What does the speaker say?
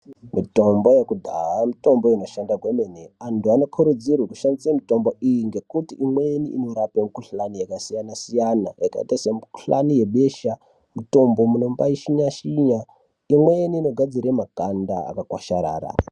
Mitombo yekudhaa mitombo inoshanda kwemene. Antu anokurudzirwe kushandise mitombo iyi ngekuti imweni inorape mikuhlani yakasiyana-siyana yakaita mikuhlani yebesha, mutombo mombaishinya-shinya. Imweni inogadzire makanda akakwasharara.